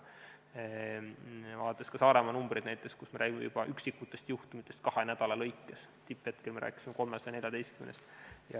Vaatame kas või näiteks Saaremaa numbreid, kus me räägime juba üksikutest juhtumitest kahe nädala jooksul, samas kui tipphetkel me rääkisime 314-st.